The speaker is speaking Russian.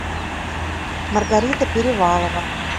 маргарита перевалова